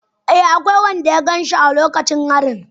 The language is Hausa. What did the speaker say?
Eh, akwai wanda ya gan shi a lokacin harin